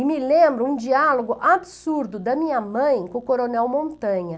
E me lembro um diálogo absurdo da minha mãe com o coronel Montanha.